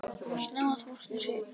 Snemma að morgni segirðu.